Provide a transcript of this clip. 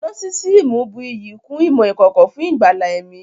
Nósísíìmù bù iyì kún ìmọ̀ ìkọ̀kọ̀ fún ìgbàlà ẹ̀mí